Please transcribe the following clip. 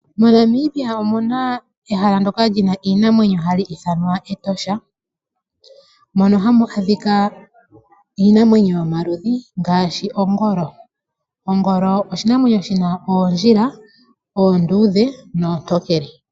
Mo Namibia omuna ehala ndyoka lyina iinamwenyo hali ithanwa Etosha. Mono hamu adhika iinamwenyo yomaludhi ngaashi ongolo. Ongolo oshinamwenyo shina oondjila oonduudhe noontokele.